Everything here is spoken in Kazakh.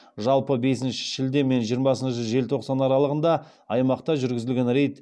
жалпы бесінші шілде мен жиырмасыншы желтоқсан аралығында аймақта жүргізілген рейд